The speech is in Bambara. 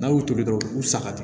N'a y'u to yen dɔrɔn u bi saga di